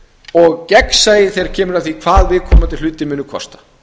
og gegnsæi þegar kemur að því hvað viðkomandi hlutir munu kosta